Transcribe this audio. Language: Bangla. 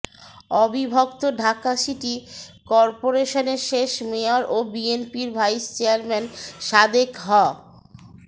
অবিভক্ত ঢাকা সিটি করপোরেশনের শেষ মেয়র ও বিএনপির ভাইস চেয়ারম্যান সাদেক হ